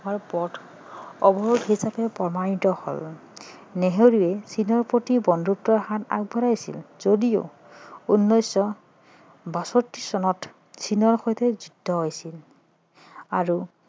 হোৱাৰ পথ অৱৰোধ হিচাপে প্ৰমাণিত হল নেহেৰুৱে চীনৰ প্ৰতি বন্ধুত্বৰ হাত আগবঢ়াইছিল যদিও উনৈছশ বাষষ্ঠি চনত চীনৰ সৈতে যুদ্ধ হৈছিল আৰু